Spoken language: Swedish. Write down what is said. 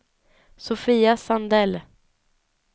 Sofia Sandell